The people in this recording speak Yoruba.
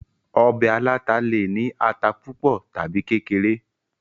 ọbẹ̀ aláta le è ní ata púpọ̀ tàbi kékeré